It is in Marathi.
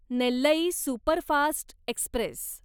Nellai superfast Express